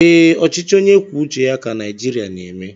Ee, ọchịchị onye kwuo uche ya ka Naijiria na-eme